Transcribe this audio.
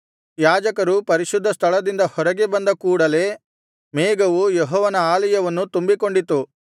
ಯಾಜಕರು ಪರಿಶುದ್ಧ ಸ್ಥಳದಿಂದ ಹೊರಗೆ ಬಂದ ಕೂಡಲೆ ಮೇಘವು ಯೆಹೋವನ ಆಲಯವನ್ನು ತುಂಬಿಕೊಂಡಿತು